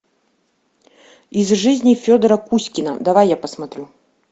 из жизни федора кузькина давай я посмотрю